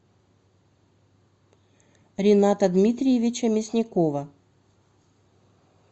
рината дмитриевича мясникова